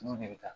Olu de bɛ taa